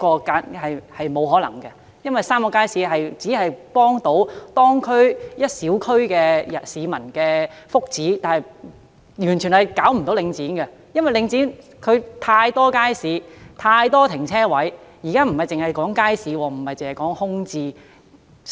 答案是沒可能的，因為3個街市只會對一個小區的當區市民的福祉有幫助，對領展卻毫無影響，因為它擁有太多街市和泊車位，況且現在我們並非純粹討論街市或空置問題。